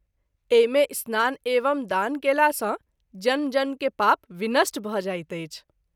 एहि मे स्नान एवं दान कएला सँ जन्म जन्म के पाप विनष्ट भ’ जाइत अछि।